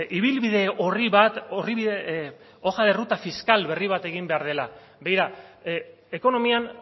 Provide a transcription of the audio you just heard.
ibilbide orri bat orri bide hoja de ruta fiskal berri bat egin behar dela begira ekonomian